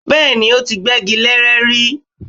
Bẹ́ẹ̀ni, ó ti gbẹ́gi leré rí